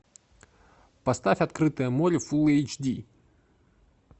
поставь открытое море фулл эйч ди